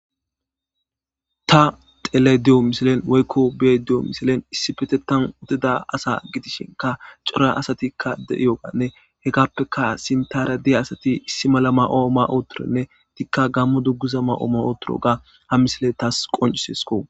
Ta xellaydo misilen woyko beyaydo misilen issippeteta uttida asa gidishinka c'ora asati de'iyoganne hegappeka Sinatra diya asatti issi mala mayo ma'i uttidinne ettika gammo dunguza ma'i uttidaga ha missile tawu qonc'isesko